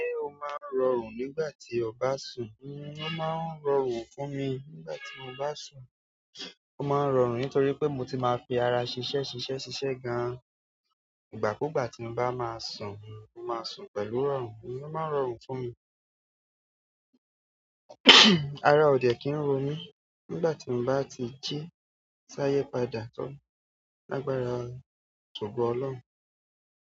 Ṣé o máa ń rọrùn nígbà tí ọ bá sùn? N o máa ń rọrùn fún mi nígbà tí mo bá sùn. Mo máa ń rọrùn nítorí pé mo ti máa ń fi ara ṣiṣẹ́ ṣiṣẹ́ ṣiṣẹ́ gan. Ìgbà kúùgbà tí mo bá máa sùn, mo máa sùn pẹ̀lú rọrùn. N o máa ń rọrùn fún mi. Ara ò dẹ̀ kí n ro milí nígbà tí mo bá ti jí. Sáyé padà tó ní lágbára, tògo Ọlọ́run.